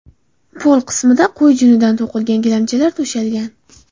Pol qismida qo‘y junidan to‘qilgan gilamchalar to‘shalgan.